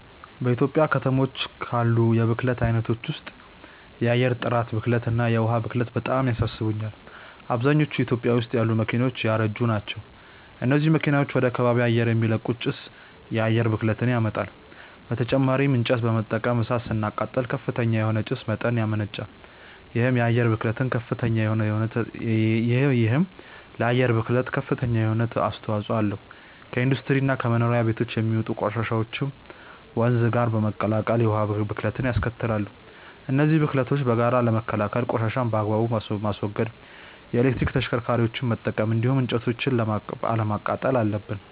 በኢትዮጵያ ከተሞች ካሉ የብክለት አይነቶች ውስጥ የአየር ጥራት ብክለት እና የዉሃ ብክለት በጣም ያሳስቡኛል። አብዛኞቹ ኢትዮጵያ ውስጥ ያሉ መኪናዎች ያረጁ ናቸው። እነዚህ መኪናዎች ወደ ከባቢ አየር የሚለቁት ጭስ የአየር ብክለትን ያመጣል። በተጨማሪም እንጨት በመጠቀም እሳት ስናቃጥል ከፍተኛ የሆነ የጭስ መጠን ያመነጫል። ይሄም ለአየር ብክለት ከፍተኛ የሆነ አስተዋጽኦ አለው። ከኢንዱስትሪ እና ከመኖሪያ ቤቶች የሚወጡ ቆሻሻዎችም ወንዝ ጋር በመቀላቀል የውሃ ብክለትንያስከትላሉ። እነዚህን ብክለቶች በጋራ ለመከላከል ቆሻሻን በአግባቡ ማስወገድ፣ የኤሌክትሪክ ተሽከርካሪዎችን መጠቀም እንዲሁም እንጨቶችን አለማቃጠል አለብን።